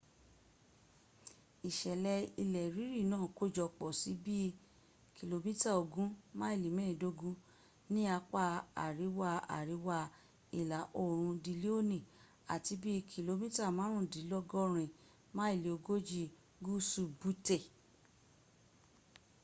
isele ile riri naa kojopo si bii km ogun maili meedogun ni apa ariwa-ariwa ila oorun dilioni ati bi km marundinlogorin maili ogoji guusu butte